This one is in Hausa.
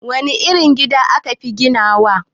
Wane irin gida ka fi iya ginawa?